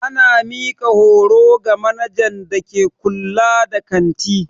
Ana mika horo ga manajan da ke kulla da kanti.